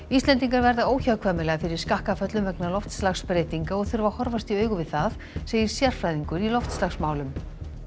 Íslendingar verða óhjákvæmilega fyrir skakkaföllum vegna loftslagsbreytinga og þurfa að horfast í augu við það segir sérfræðingur í loftslagsmálum